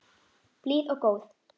Blíð og góð.